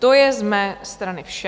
To je z mé strany vše.